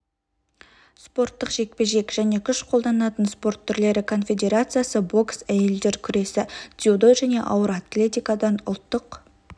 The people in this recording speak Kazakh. спорттық жекпе-жек және күш қолданатын спорт түрлері конфедерациясы бокс әйелдер күресі дзюдо және ауыр атлетикадан ұлттық